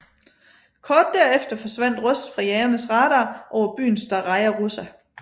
Kort derefter forsvandt Rust fra jagernes radar over byen Staraja Russa